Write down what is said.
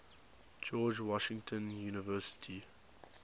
george washington university